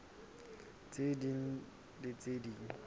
tse ding le tse ding